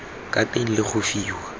ka teng le go fiwa